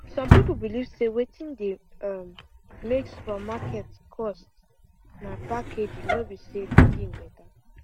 some people believe say wetin dey um make supermarket cost na packaging no be say the thing better